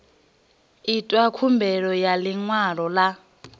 itwa khumbelo ya ḽiṅwalo ḽa